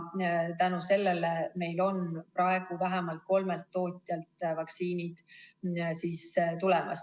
Tänu sellele on meil praegu vähemalt kolmelt tootjalt vaktsiinid tulemas.